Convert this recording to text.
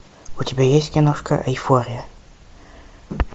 у тебя есть киношка эйфория